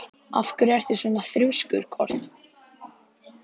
Af hverju ertu svona þrjóskur, Kort?